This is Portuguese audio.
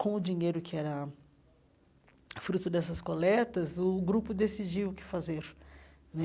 Com o dinheiro que era fruto dessas coletas, o grupo decidiu o que fazer né.